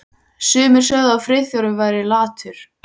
Sumir sögðu að Friðþjófur væri latur.